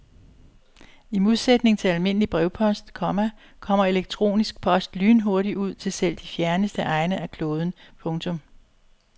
I modsætning til almindelig brevpost, komma kommer elektronisk post lynhurtigt ud til selv de fjerneste egne af kloden. punktum